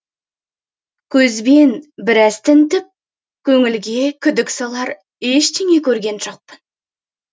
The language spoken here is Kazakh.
көзбен біраз тінтіп көңілге күдік салар ештеңе көрген жоқпын